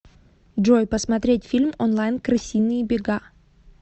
джой посмотреть фильм онлайн крысиные бега